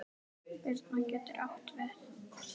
Birna getur átt við